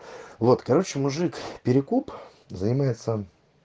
вот короче мужик перекуп занимается